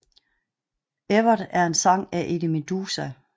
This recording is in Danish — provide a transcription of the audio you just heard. Evert er en sang af Eddie Meduza